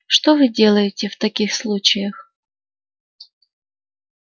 что вы делали в таких случаях